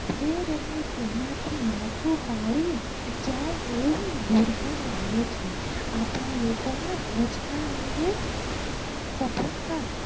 ઠેર અને તેમાંથી માથું ફાડીને ક્યાંય આવી દુર્ગંધ આવે છે આપણા લોકો માં સ્વચ્છ તા અંગે સફળતા